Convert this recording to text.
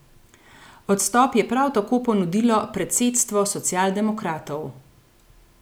Odstop je prav tako ponudilo predsedstvo socialdemokratov.